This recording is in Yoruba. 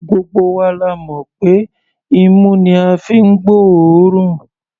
Gbogbo wa la mọ̀ pé imú ni a fi ń gbóòórùn.